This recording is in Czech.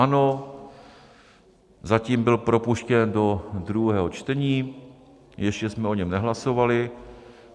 Ano, zatím byl propuštěn do druhého čtení, ještě jsme o něm nehlasovali.